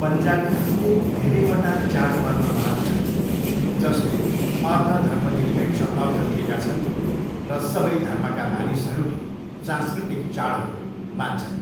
पन्जाबीहरूले धेरैवटा चाडपर्व मनाउँछन्, जसले अर्ध धर्मनिरपेक्ष अर्थ लिएका छन् र सबै धर्मका मानिसहरूले सांस्कृतिक चाडहरू मान्छन्।